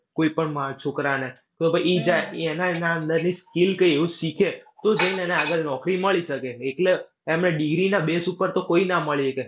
કોઈ પણ માણસ છોકરાને, તો ભાઈ એના એના અંદરથી skill કાંઈ એવું કંઈ શીખે તો જઈને એને આગળ નોકરી મળી શકે. એકલા એમને degree ના base ઉપર તો કોઈ ના મળી શકે.